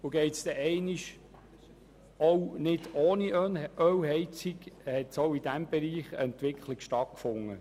Auch im Bereich der Ölheizungen hat eine Entwicklung stattgefunden.